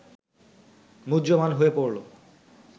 মুহ্যমান হয়ে পড়ল